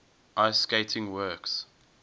ice skating works